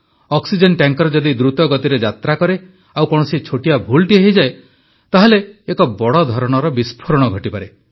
oxygen tanker ଯଦି ଦୃତ ଗତିରେ ଯାତ୍ରା କରେ ଆଉ କୌଣସି ଛୋଟିଆ ଭୁଲଟିଏ ହେଇଯାଏ ତାହେଲେ ଏକ ବଡ଼ ଧରଣର ବିସ୍ଫୋରଣ ଘଟିପାରେ